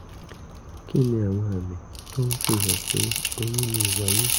kí ni àwọn àmì tó ń fihàn pé oyún lè wáyé?